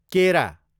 केरा